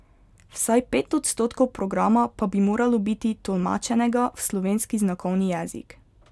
Vsaj pet odstotkov programa pa bi moralo biti tolmačenega v slovenski znakovni jezik.